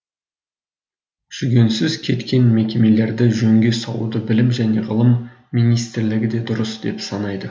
жүгенсіз кеткен мекемелерді жөнге салуды білім және ғылым министрлігі де дұрыс деп санайды